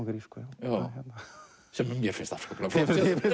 grísku sem mér finnst afskaplega flott